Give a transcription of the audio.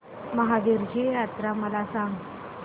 महावीरजी जत्रा मला सांग